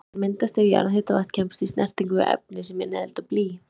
Þær myndast ef jarðhitavatn kemst í snertingu við efni sem innihalda blý.